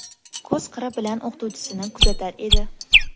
Ko‘z qiri bilan o‘qituvchisini kuzatar edi.